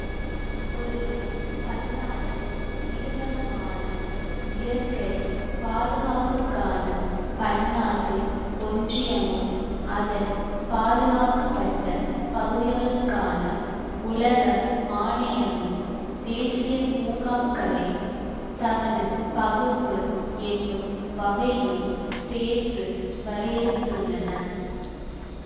ஒரு பன்னாட்டு நிறுவனமான இயற்கை பாதுகாப்புக்கான பன்னாட்டு ஒன்றியமும் அதன் பாதுகாக்கப்பட்ட பகுதிகளுக்கான உலக ஆணையமும் தேசிய பூங்காக்களைத் தமது பகுப்பு என்னும் வகையுள் சேர்த்து வரையறுத்துள்ளன